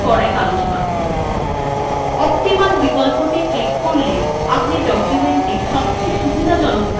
optimal বিকল্পটি click করলে আপনি documentthe সবচেয়ে সুবিধাজনকভাবে দেখতে পারবেন